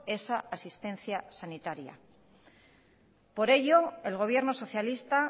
esa asistencia sanitaria por ello el gobierno socialista